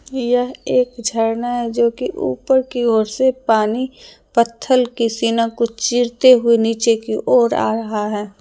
यह एक झरना है जो कि ऊपर की ओर से पानी पत्थल के सीना को चीरते हुऐ नीचे की ओर आ रहा है।